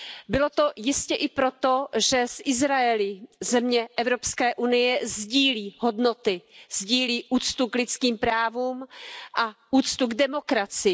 Bylo to jistě i proto, že s Izraelem země EU sdílí hodnoty, sdílí úctu k lidským právům a úctu k demokracii.